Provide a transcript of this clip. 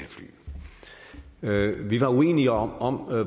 have fly vi var uenige om